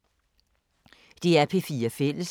DR P4 Fælles